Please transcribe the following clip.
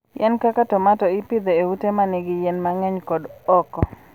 Yien kaka tomato ipidho e ute ma nigi yien mang'eny kod oko.